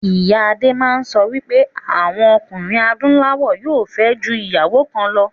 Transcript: Ìyá adé máa ń sọ wípé àwọn ọkùnrin adúláwọ̀ yóò fẹ́. ju ìyàwó kan lọ